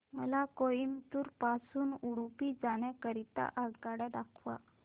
मला कोइंबतूर पासून उडुपी जाण्या करीता आगगाड्या दाखवा